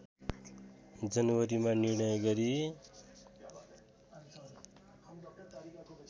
जनवरीमा निर्णय गरी